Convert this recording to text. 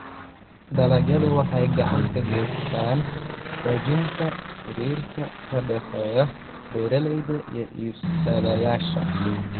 Dalagyadu waxay gacan ka geystaan ??xoojinta xiriirka ka dhexeeya beeralayda iyo iibsadayaasha.